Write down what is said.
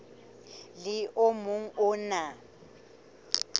le o mong o na